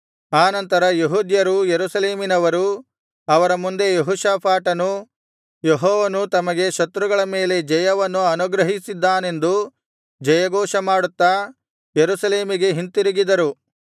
ಆ ನಂತರ ಯೆಹೂದ್ಯರೂ ಯೆರೂಸಲೇಮಿನವರೂ ಅವರ ಮುಂದೆ ಯೆಹೋಷಾಫಾಟನೂ ಯೆಹೋವನು ತಮಗೆ ಶತ್ರುಗಳ ಮೇಲೆ ಜಯವನ್ನು ಅನುಗ್ರಹಿಸಿದ್ದಾನೆಂದು ಜಯಘೋಷ ಮಾಡುತ್ತಾ ಯೆರೂಸಲೇಮಿಗೆ ಹಿಂತಿರುಗಿದರು